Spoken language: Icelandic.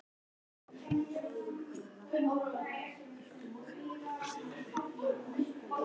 Grjóni sagði að hann hlyti að hafa gleymt því.